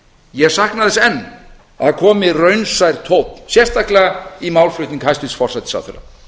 ég sakna þess enn að það komi raunsær tónn sérstaklega í málflutning hæstvirts forsætisráðherra